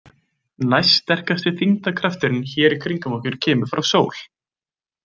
Næststerkasti þyngdarkrafturinn hér í kringum okkur kemur frá sól.